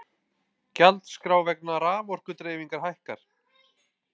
Gjaldskrá vegna raforkudreifingar hækkar